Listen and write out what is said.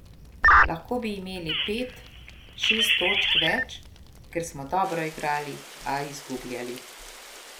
Lahko bi imeli pet, šest točk več, ker smo dobro igrali, a izgubljali.